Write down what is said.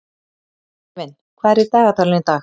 Sævin, hvað er í dagatalinu í dag?